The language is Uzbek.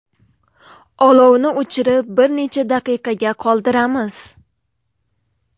Olovni o‘chirib, bir necha daqiqaga qoldiramiz.